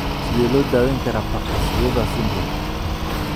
Sidee loo daweyn karaa Parkes Weber syndrome?